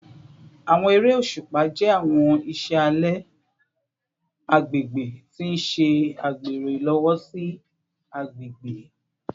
Awọn ere oṣupa jẹ awọn iṣẹ alẹ agbegbe ti n ṣe agbero ilowosi agbegbe